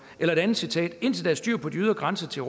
et andet citat indtil der er styr på de ydre grænser til